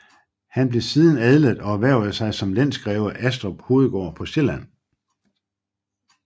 Han blev siden adlet og erhvervede sig som lensgreve Aastrup Hovedgård på Sjælland